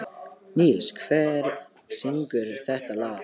Níls, hver syngur þetta lag?